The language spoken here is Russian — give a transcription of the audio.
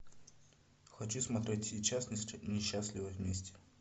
хочу смотреть сейчас несчастливы вместе